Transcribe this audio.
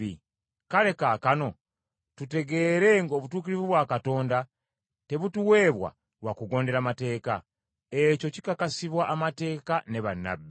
Kale kaakano tutegeere ng’obutuukirivu bwa Katonda tebutuweebwa lwa kugondera Mateeka. Ekyo kikakasibwa Amateeka ne bannabbi.